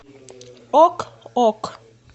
ок ок